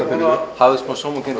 hafðu smá sómakennd og